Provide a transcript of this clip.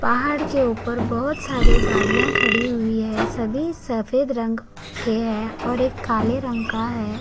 पहाड़ के ऊपर बहोत सारे गाड़ियाँ खड़ी हुई हैं सभी सफ़ेद रंग का हैं और एक काला रंग का है।